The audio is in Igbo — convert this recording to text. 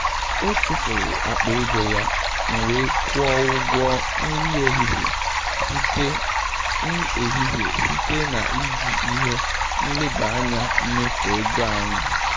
Ọ chefuru akpa ego ya, m wee kwụọ ụgwọ nri ehihie site ehihie site na iji ihe nleba anya mmefu ego anyị.